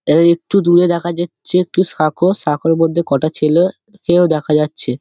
এই একটু দূরে দেখা যাচ্ছে একটি সাঁকো সাঁকোর মধ্যে কটা ছেলে-এ কেও দেখা যাচ্ছে